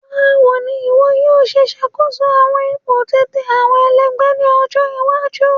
Bawo ni iwọ yoo ṣe ṣakoso awọn ipo titẹ awọn ẹlẹgbẹ ni ọjọ iwaju?